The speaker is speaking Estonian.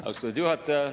Austatud juhataja!